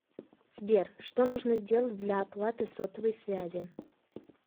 сбер что нужно сделать для оплаты сотовой связи